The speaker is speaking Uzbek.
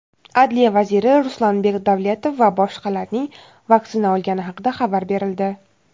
Adliya vaziri Ruslanbek Davletov va boshqalarning vaksina olgani haqida xabar berildi.